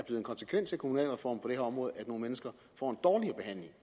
en konsekvens af kommunalreformen her område at nogle mennesker får